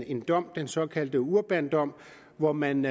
en dom den såkaldte urbandom hvor man